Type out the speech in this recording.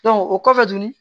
o kɔfɛ dun